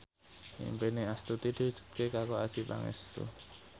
impine Astuti diwujudke karo Adjie Pangestu